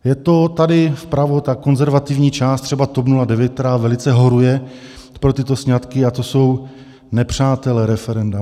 Je to tady vpravo ta konzervativní část, třeba TOP 09, která velice horuje pro tyto sňatky, a to jsou nepřátelé referenda.